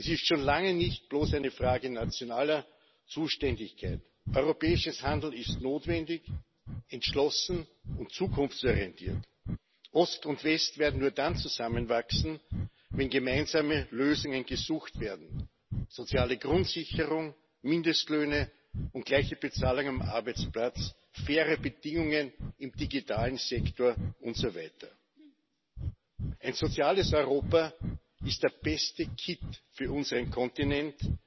Das ist schon lange nicht bloß eine Frage nationaler Zuständigkeit. Europäisches Handeln ist notwendig entschlossen und zukunftsorientiert. Ost und West werden nur dann zusammenwachsen, wenn gemeinsame Lösungen gesucht werden soziale Grundsicherung, Mindestlöhne und gleiche Bezahlung am Arbeitsplatz, faire Bedingungen im digitalen Sektor usw. Ein soziales Europa ist der beste Kitt für unseren Kontinent,